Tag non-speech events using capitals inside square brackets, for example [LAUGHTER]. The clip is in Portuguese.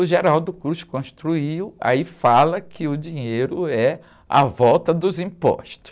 O [UNINTELLIGIBLE] construiu, aí fala que o dinheiro é a volta dos impostos.